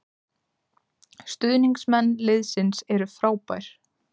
Stuðningsmenn liðsins eru frábær